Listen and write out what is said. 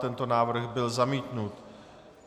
Tento návrh byl zamítnut.